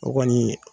O kɔni